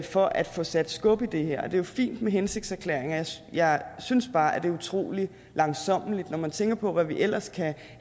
for at få sat skub i det her og det er jo fint med hensigtserklæringer jeg synes bare at det er utrolig langsommeligt når man tænker på hvad vi ellers kan